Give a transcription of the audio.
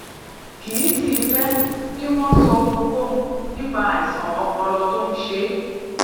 kì í sì í fé kí wón sọ ohunkóhun nípa àìsàn ọpọlọ tó ń ṣe é